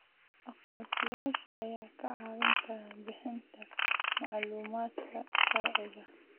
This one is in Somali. Aqoonsiyaasha ayaa kaa caawin kara bixinta macluumaadka sharciga ah.